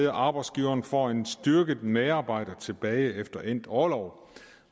arbejdsgiveren får en styrket medarbejder tilbage efter endt orlov